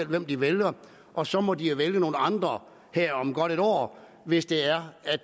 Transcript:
hvem de vælger og så må de jo vælge nogle andre her om godt et år hvis det er at